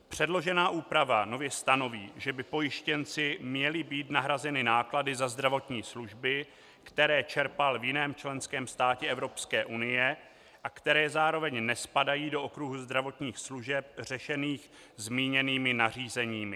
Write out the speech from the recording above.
Předložená úprava nově stanoví, že by pojištěnci měly být nahrazeny náklady za zdravotní služby, které čerpal v jiném členském státě EU a které zároveň nespadají do okruhu zdravotních služeb řešených zmíněnými nařízeními.